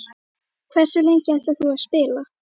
Hversu lengi ætlar þú að spila?